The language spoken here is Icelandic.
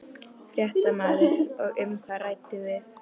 Fréttamaður: Og um hvað rædduð þið?